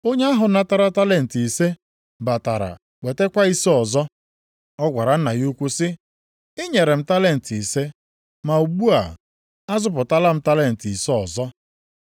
Onye ahụ natara talenti ise batara wetakwa ise ọzọ. Ọ gwara nna ya ukwu sị, ‘Ị nyere m talenti ise, ma ugbu a azụpụtala m talenti ise ọzọ!’